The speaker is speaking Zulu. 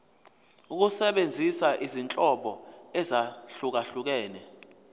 ukusebenzisa izinhlobo ezahlukehlukene